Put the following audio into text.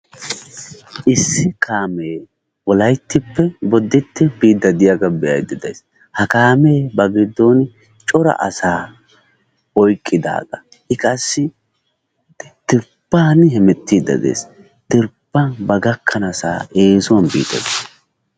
Issi kaame wolayttappe Bodditte biide de'iyaaga be'aydda days. Ha kaame ba giddon cora asa oyqqidaaga. I qassi dirbban hemettide de'ees, dirbban ba gakkanassa eesuwan biide de'ees.